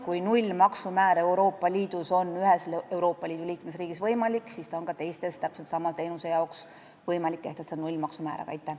Kui Euroopa Liidu ühes liikmesriigis on nullmaksumäär võimalik, siis on võimalik ka teistes täpselt sama teenuse jaoks nullmaksumäär kehtestada.